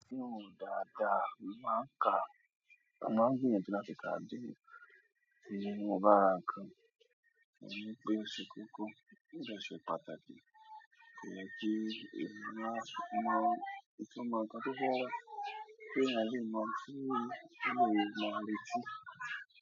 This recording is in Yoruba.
Sínú dàda máa ń ka, máa ń gbìyànjú láti ka Bíbélì inú ọgbà nnkán, èyí pé ṣe kókó, ó dẹ̀ ṣe pàtàkì pé kí ẹ̀yàn máa, máa, kí ọmọ nǹkan tó fẹ́ rà, pé èèyàn yóò máa fún un ní, pé un yóò máa retí.